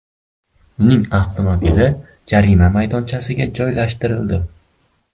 Uning avtomobili jarima maydonchasiga joylashtirildi.